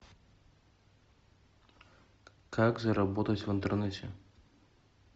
как заработать в интернете